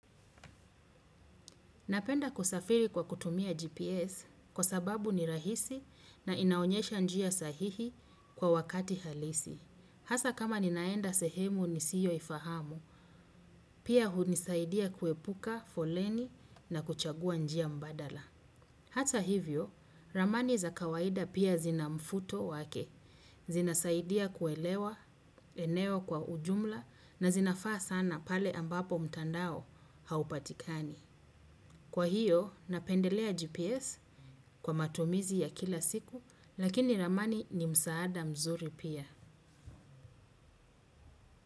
Napenda kusafiri kwa kutumia GPS kwa sababu ni rahisi na inaonyesha njia sahihi kwa wakati halisi. Hasa kama ninaenda sehemu nisiyoifahamu, pia hunisaidia kuepuka foleni na kuchagua njia mbadala. Hata hivyo, ramani za kawaida pia zina mvuto wake, zinasaidia kuelewa eneo kwa ujumla na zinafaa sana pale ambapo mtandao haupatikani. Kwa hiyo, napendelea GPS kwa matumizi ya kila siku, lakini ramani ni msaada mzuri pia.